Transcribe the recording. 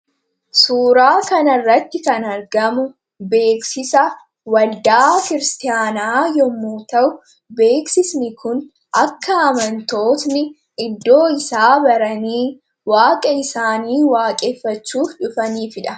Suuraa kana irratti kan argamu beeksisa waldaa kiristaanaa yommuu ta'u beeksisni kun akka amantoonni iddoo isaa baranii waaqa isaanii waaqeeffachuuf dhufanifiidha.